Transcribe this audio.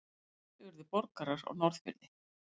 Fleiri urðu borgarar á Norðfirði.